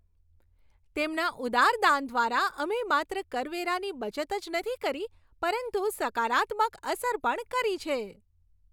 તેમના ઉદાર દાન દ્વારા, અમે માત્ર કરવેરાની બચત જ નથી કરી પરંતુ સકારાત્મક અસર પણ કરી છે!